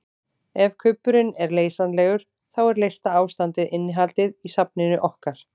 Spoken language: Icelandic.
Ef kubburinn er leysanlegur þá er leysta ástandið innihaldið í safninu okkar.